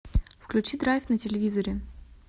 включи драйв на телевизоре